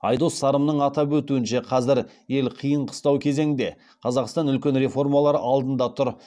айдос сарымның атап өтуінше қазір ел қиын қыстау кезеңде қазақстан үлкен реформалар алдында тұр